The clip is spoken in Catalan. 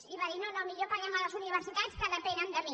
i va dir no no millor paguem a les universitats que depenen de mi